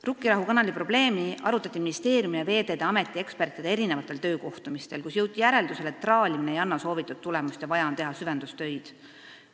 " Rukkirahu kanali probleemi arutati ministeeriumi ja Veeteede Ameti ekspertide töökohtumistel, kus jõuti järeldusele, et traalimine ei anna soovitud tulemust ja vaja on teha süvendustöid.